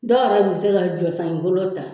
Dɔw yɛrɛ bɛ se ka golo ta